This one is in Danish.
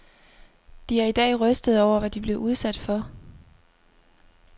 De er i dag rystede over, hvad de blev udsat for.